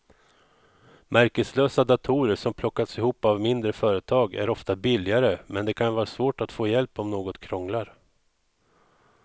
Märkeslösa datorer som plockas ihop av mindre företag är ofta billigare men det kan vara svårt att få hjälp om något krånglar.